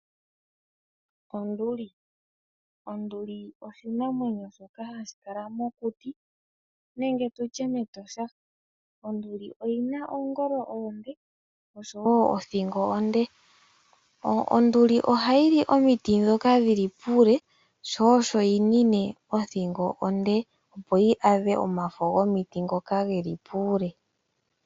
Onduli oshinanwenyo shomokuti nenge metosha, oyina oongolo oshowo othingo onde. Ohayi li omiti ndhoka dhili puule sho osho yinine othingi onde yi vule okwaadha omafo ngoka geli puule.